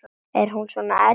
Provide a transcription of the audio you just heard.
Er hún svona erfið?